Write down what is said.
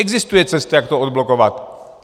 Existuje cesta, jak to odblokovat.